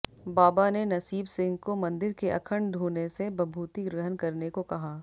बाबा ने नसीब सिंह को मंदिर के अखंड धूणे से भभूती ग्रहण करने को कहा